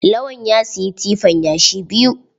Lawan ya siyi tifan yashi biyu.